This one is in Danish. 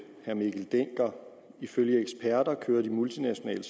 herre mikkel dencker ifølge eksperter kører de multinationale